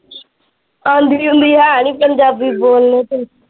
ਆਂਦੀ ਆਉਂਦੀ ਹੈ ਨਹੀਂ ਪੰਜਾਬੀ ਬੋਲ ਲੋ ਤੁਸੀਂ।